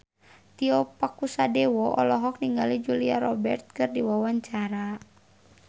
Tio Pakusadewo olohok ningali Julia Robert keur diwawancara